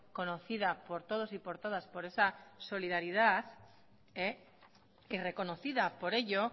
conocida por todos y por todas por esa solidaridad y reconocida por ello